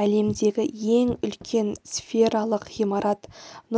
әлемдегі ең үлкен сфералық ғимарат